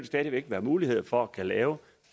stadig væk være mulighed for at kunne lave